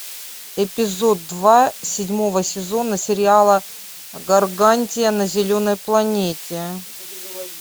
эпизод два седьмого сезона сериала гаргантия на зеленой планете